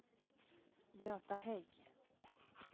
Göta Hägg